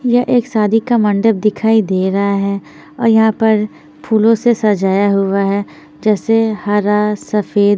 यहाँ एक शादी का मंडप दिखाई दे रहा है और यहाँ पर फूलो से सजाया हुआ है जेसे हरा सफ़ेद--